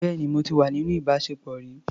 Bẹ́ẹ̀ni, mo ti wà níní ìbáṣepọ̀ rí.